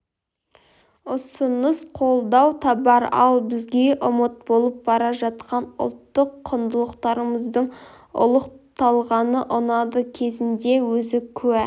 ұсыныс қолдау табар ал бізге ұмыт болып бара жатқан ұлттық құндылықтарымыздың ұлықталғаны ұнады кезінде өзі куә